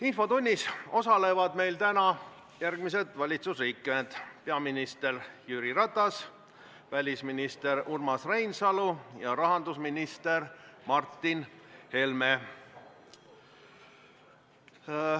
Infotunnis osalevad täna järgmised valitsusliikmed: peaminister Jüri Ratas, välisminister Urmas Reinsalu ja rahandusminister Martin Helme.